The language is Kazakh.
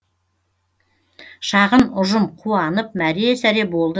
шағын ұжым қуанып мәре сәре болды